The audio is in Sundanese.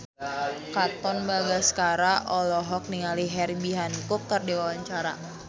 Katon Bagaskara olohok ningali Herbie Hancock keur diwawancara